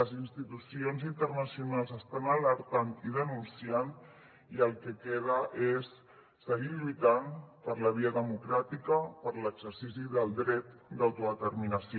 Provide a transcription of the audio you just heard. les institucions internacionals ho estan alertant i denunciant i el que queda és seguir lluitant per la via democràtica per l’exercici del dret d’autodeterminació